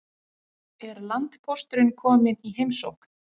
Er landpósturinn kominn í heimsókn?